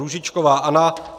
Růžičková Anna